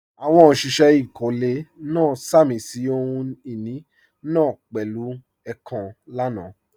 Àwọn òṣìṣẹ́ ìkọ́lé náà sàmì sí ohun ìní náà pẹ̀lú èèkàn lánàá